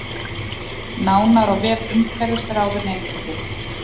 Nánar á vef umhverfisráðuneytisins